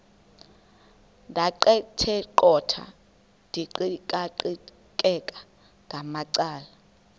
ndaqetheqotha ndiqikaqikeka ngamacala